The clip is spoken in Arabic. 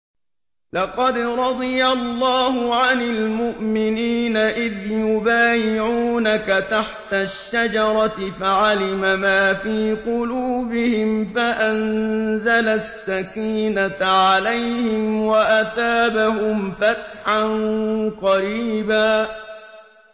۞ لَّقَدْ رَضِيَ اللَّهُ عَنِ الْمُؤْمِنِينَ إِذْ يُبَايِعُونَكَ تَحْتَ الشَّجَرَةِ فَعَلِمَ مَا فِي قُلُوبِهِمْ فَأَنزَلَ السَّكِينَةَ عَلَيْهِمْ وَأَثَابَهُمْ فَتْحًا قَرِيبًا